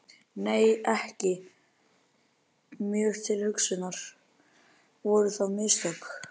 Lóa: Nei, ekki mjög til umhugsunar, voru það mistök?